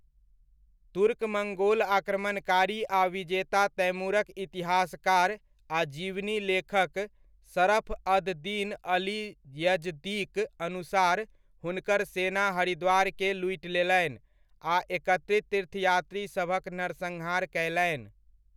तुर्क मङ्गोल आक्रमणकारी आ विजेता तैमूरक इतिहासकार आ जीवनी लेखक शरफ अद दीन अली यजदीक अनुसार, हुनकर सेना हरिद्वारके लूटि लेलनि आ एकत्रित तीर्थयात्रीसभक नरसंहार कयलनि।